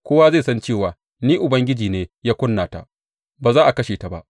Kowa zai san cewa Ni Ubangiji ne ya ƙuna ta; ba za a kashe ta ba.’